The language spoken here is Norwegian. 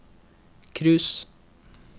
cruise